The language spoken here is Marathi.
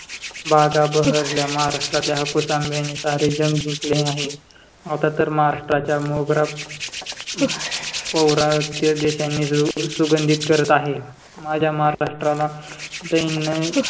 बागा बहरल्या महाराष्ट्रातील हापूस आंब्याने सारे जग जिंकले आहे. आता तर महाराष्ट्राच्या मोगरा पौरा किंवा देशांनी सुगंधित करत आहे. माझ्या महाराष्ट्राला दैन्य